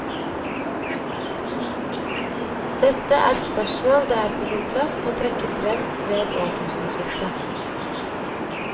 Dette er spørsmål det er på sin plass å trekke frem ved et årtusenskifte.